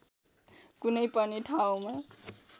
कुनै पनि ठाउँमा